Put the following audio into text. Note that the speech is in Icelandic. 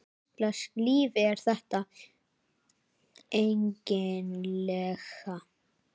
Hvurslags líf er þetta eiginlega?